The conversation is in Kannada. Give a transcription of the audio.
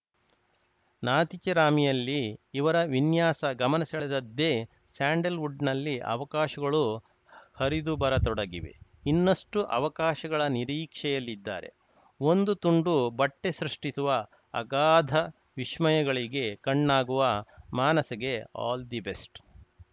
ನಾತಿಚರಾಮಿಯಲ್ಲಿ ಇವರ ವಿನ್ಯಾಸ ಗಮನಸೆಳೆದದ್ದೇ ಸ್ಯಾಂಡಲ್‌ವುಡ್‌ನಲ್ಲಿ ಅವಕಾಶಗಳು ಹರಿದುಬರತೊಡಗಿವೆ ಇನ್ನಷ್ಟುಅವಕಾಶಗಳ ನಿರೀಕ್ಷೆಯಲ್ಲಿದ್ದಾರೆ ಒಂದು ತುಂಡು ಬಟ್ಟೆಸೃಷ್ಟಿಸುವ ಅಗಾಧ ವಿಸ್ಮಯಗಳಿಗೆ ಕಣ್ಣಾಗುವ ಮಾನಸಗೆ ಆಲ್‌ ದಿ ಬೆಸ್ಟ್‌